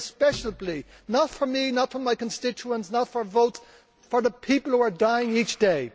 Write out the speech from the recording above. I make a special plea, not for me, not for my constituents, not for votes, but for the people who are dying each